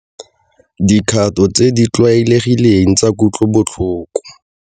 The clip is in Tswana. Dikgato tse di tlwaelegileng tsa kutlobotlhoko.